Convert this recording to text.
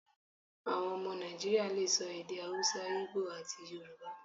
Àwọn ọmọ Nàìjíríà le so èdè Hausa, Íbò, àti Yorùbá.